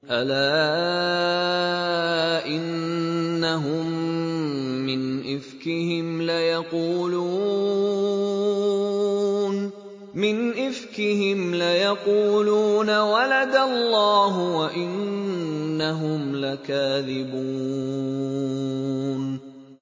وَلَدَ اللَّهُ وَإِنَّهُمْ لَكَاذِبُونَ